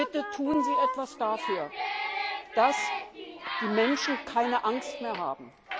Bitte tun Sie etwas dafür, dass die Menschen keine Angst mehr haben.